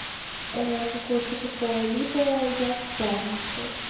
а какое-то такое либо я в пятницу